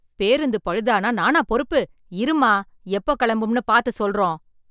பேருந்துப் பழுதானா நானா பொறுப்பு, இரும்மா எப்போ கெளம்பும்னு பாத்து சொல்றோம்.